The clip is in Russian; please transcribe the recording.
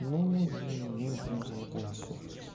ну и мы прямо за вакансию